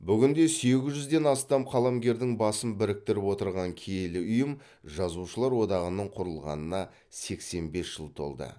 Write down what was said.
бүгінде сегіз жүзден астам қаламгердің басын біріктіріп отырған киелі ұйым жазушылар одағының құрылғанына сексен бес жыл толды